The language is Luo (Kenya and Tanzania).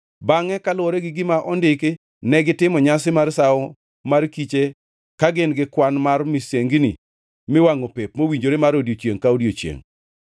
Bangʼe kaluwore gi gima ondiki, negitimo nyasi mar Sawo mar kiche ka gin gi kwan mar misengini miwangʼo pep mowinjore mar odiechiengʼ ka odiechiengʼ.